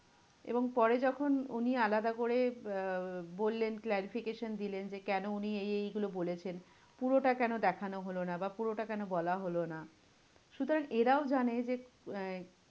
এবং পরে যখন উনি আলাদা করে আহ বললেন, clarification দিলেন যে, কেন উনি এই এইগুলো বলেছেন? পুরোটা কেন দেখানো হলো না? বা পুরোটা কেন বলা হলো না? সুতরাং এরাও জানে যে আহ